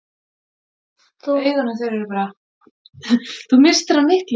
Þú misstir af miklu!